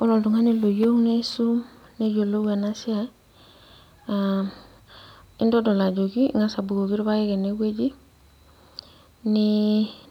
Ore oltung'ani loyieu niisum neyiolou enasiai, intodol ajoki ing'asa abukoki irpaek enewueji,